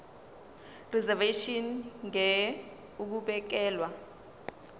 reservation ngur ukubekelwa